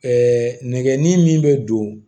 nɛgɛnni min bɛ don